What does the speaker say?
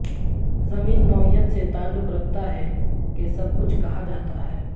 زمین نوعیت سے تعلق رکھتا ہے کہ سب کچھ کہا جاتا ہے